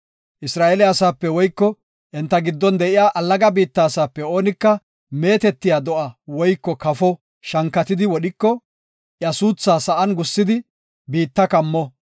“Isra7eele asaape woyko enta giddon de7iya allaga biitta asaape oonika meetetiya do7a woyko kafo shankatidi wodhiko, iya suuthaa sa7an gussidi biitta kammo.